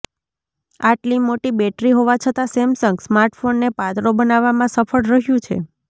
આટલી મોટી બેટરી હોવા છતાં સેમસંગ સ્માર્ટફોનને પાતળો બનાવવામાં સફળ રહ્યું છે